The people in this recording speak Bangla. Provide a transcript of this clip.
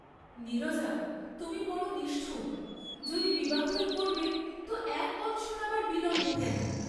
নীরজা তুমি বড় নিষ্ঠুব, যদি বিবাহই করবে তো এক বৎসর আবার বিলম্ব কেন।